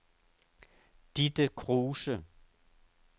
Ditte Kruse